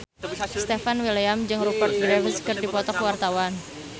Stefan William jeung Rupert Graves keur dipoto ku wartawan